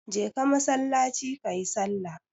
Je ka masallaci kayi sallah!